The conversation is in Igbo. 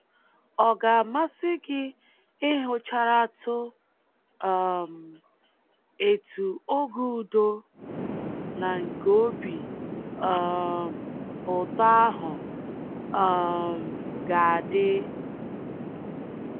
Ọ ga-amasị gị ịhụcharatụ um etu oge udo na nke obi um ụtọ ahụ um ga-adị?